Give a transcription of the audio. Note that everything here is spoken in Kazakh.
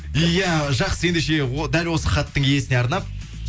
иә жақсы ендеше дәл осы хаттың иесіне арнап